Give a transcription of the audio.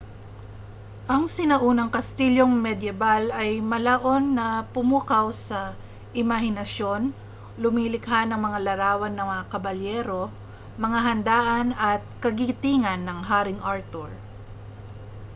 ang sinaunang kastilyong medyebal ay malaon ng pumukaw sa imahinasyon lumilikha ng mga larawan ng mga kabalyero mga handaan at kagitingan ng haring arthur